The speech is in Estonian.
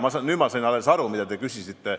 Saan alles nüüd aru, mida te küsisite.